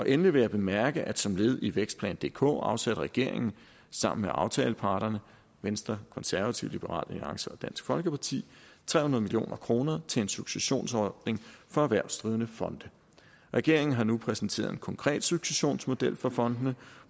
endelig vil jeg bemærke at som led i vækstplan dk afsatte regeringen sammen med aftaleparterne venstre konservative liberal alliance og dansk folkeparti tre hundrede million kroner til en successionsordning for erhvervsdrivende fonde regeringen har nu præsenteret en konkret successionsmodel for fondene